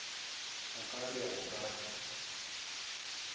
o ka re go ka